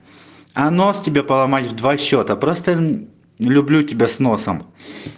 а нос тебе поломать в два счёта просто люблю тебя с носом